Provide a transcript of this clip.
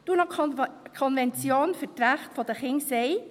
Die UNO-Konvention für die Rechte der Kinder sagt: